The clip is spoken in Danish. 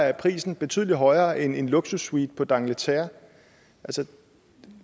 er prisen betydelig højere end en luksussuite på dangleterre